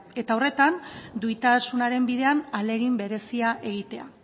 eta horretan duintasunaren bidean ahalegin berezia egitea